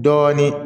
Dɔɔnin